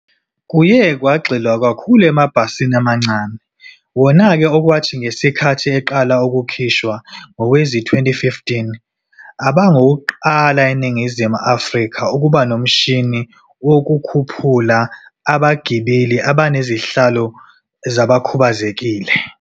Kuye kwagxilwa kakhulu emabhasini amancane, wona-ke, okwathi ngesikhathi eqala ukukhishwa ngowezi-2015, abangawokuqala eNingizimu Afrika ukuba nomshini wokukhuphula abagibeli abanezihlalo zabakhubazekile.